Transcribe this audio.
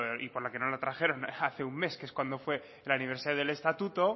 y por lo que no lo trajeron hace un mes que es cuando fue el aniversario del estatuto